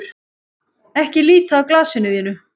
Ekki líta af glasinu þínu.